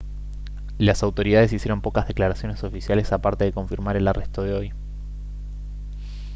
las autoridades hicieron pocas declaraciones oficiales aparte de confirmar el arresto de hoy